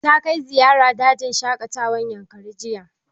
Ta kai ziyara dajin shaƙatawar yankari jiya